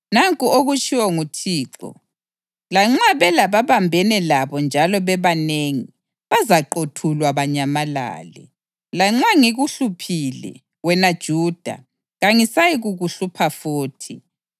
Nanku okutshiwo nguThixo: “Lanxa belababambene labo njalo bebanengi, bazaqothulwa banyamalale. Lanxa ngikuhluphile, wena Juda, kangisayikukuhlupha futhi.